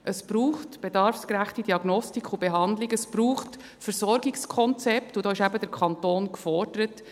Es braucht bedarfsgerechte Diagnostik und Behandlung, es braucht Versorgungskonzepte, und da ist eben der Kanton gefordert;